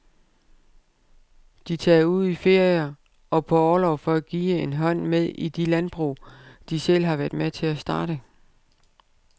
De tager ud i ferier og på orlov for at give en hånd med i de landbrug, de selv har været med til at starte.